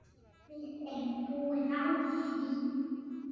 Við erum búin á því.